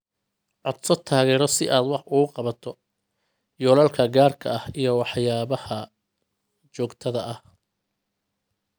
Codso taageero si aad wax uga qabato yoolalka gaarka ah iyo waxyaabaha joogtada ah.